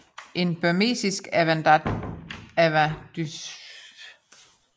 En burmesisk avadynasti opstod i byen Ava 1364